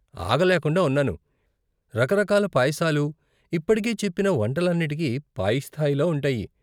ఆగలేకుండా ఉన్నాను, రకరకాల పాయసాలు, ఇప్పటికే చెప్పిన వంటలన్నిటికీ పై స్థాయిలో ఉంటాయి.